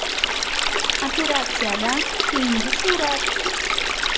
Operatsiyadan keyingi surat.